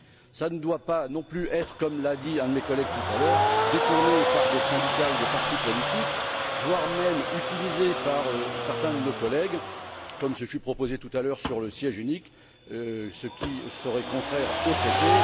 Cela ne doit pas, non plus, comme l'a dit un de mes collègues tout à l'heure, être détourné par des syndicats ou des partis politiques, voire même utilisé par certains de nos collègues, comme ce fut proposé tout à l'heure pour le siège unique, ce qui serait contraire aux traités.